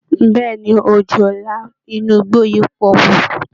Bẹ́ẹ̀ ni, ọ̀jọ̀la inú igbó yìí tóbi púpọ̀